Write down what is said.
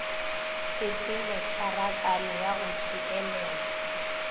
tshepelo tšharakano ya go tšeelelwa